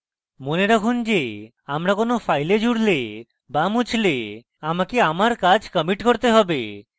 মনে রাখুন যে আমরা কোনো file জুড়লে বা মুছলে আমাকে আমার কাজ commit করতে have